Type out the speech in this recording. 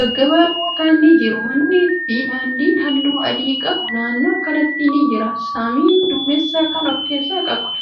gaggabaaboo ta'an ni jiru. Mannii fi daandiin haalluu adi qabu naannoo kanatti ni jira. Samiin duumessa kan of keessaa qabuudha.